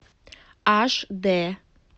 аш дэ